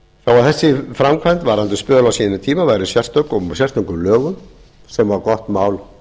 að þessi framkvæmd varðandi spöl á sínum tíma væri sérstök og með sérstökum lögum væri gott mál